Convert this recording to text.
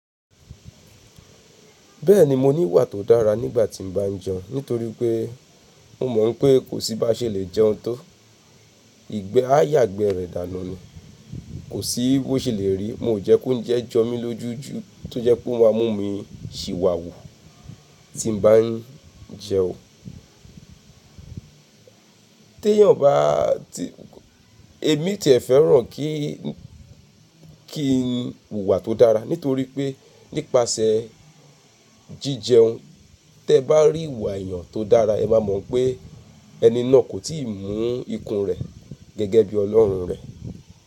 Bẹ́ẹ̀ni, mo ní ìwà tó dára nígbà tí mo bá jẹun nítorí pé mo mọ̀ pé kò sí ba ṣe lè jẹun tó. Ìgbẹ́ á yàgbẹ́ rẹ̀ dànù ni, kò sí bó ṣe lè rí. Mo jẹ́ kó jẹ́ jọ mí lójú jú tó jẹ́ pé ó máa mú mi ṣìwàwù tí mo bá ń jẹun. Tẹ́ẹ̀ yàn bá ti, èmi tí è fẹ́ràn kí, kí n wùwà tó dára nítorí pé nípasẹ̀ jíjẹun, tí ẹ bá rí ìwà èèyàn tó dára, ẹ máa mọ̀ pé ẹni náà kò tíì mú ikùn rẹ̀ gẹ́gẹ́ bí Ọlọ́run rẹ̀